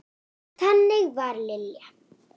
Þannig var Lilja.